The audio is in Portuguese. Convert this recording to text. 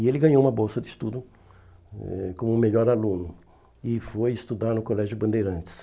E ele ganhou uma bolsa de estudo hum como melhor aluno e foi estudar no Colégio Bandeirantes.